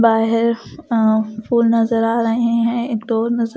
बाहर फूल नजर आ रहे हैं एक डोर नजर--